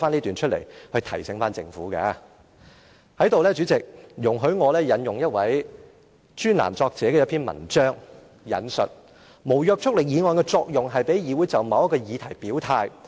代理主席，在這裏容許我引用一位專欄作者的文章，"無約束力議案的作用，是讓議會就某一議題表態。